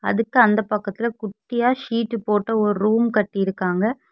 அதுக்கு அந்த பக்கத்துல குட்டியா சீட் போட்ட ஒரு ரூம் கட்டியிருக்காங்க.